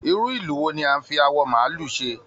Irú ìlù wò ni a n fí awọ maálù ṣe?